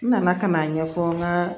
N nana ka n'a ɲɛfɔ n ka